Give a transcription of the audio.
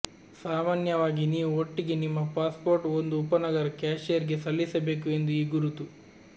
ಸಾಮಾನ್ಯವಾಗಿ ನೀವು ಒಟ್ಟಿಗೆ ನಿಮ್ಮ ಪಾಸ್ಪೋರ್ಟ್ ಒಂದು ಉಪನಗರ ಕ್ಯಾಷಿಯರ್ಗೆ ಸಲ್ಲಿಸಬೇಕು ಎಂದು ಈ ಗುರುತು